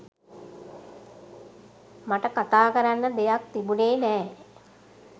මට කතා කරන්න දෙයක් තිබුණෙ නෑ.